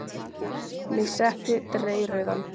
Mig setti dreyrrauðan.